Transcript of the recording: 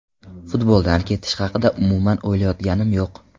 Futboldan ketish haqida umuman o‘ylayotganim yo‘q.